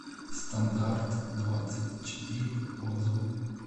стандарт двадцать четыре отзывы